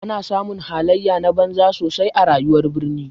Ana samun halaye na banza sosai a rayuwar birni.